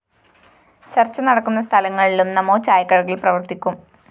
ചര്‍ച്ച നടക്കുന്ന സ്ഥലങ്ങളിലും നമോ ചായക്കടകള്‍ പ്രവര്‍ത്തിക്കും